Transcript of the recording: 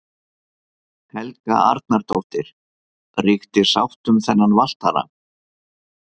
Helga Arnardóttir: Ríkti sátt um þennan valtara?